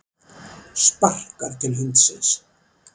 Sparkar til hundsins.